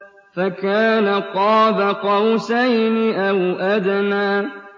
فَكَانَ قَابَ قَوْسَيْنِ أَوْ أَدْنَىٰ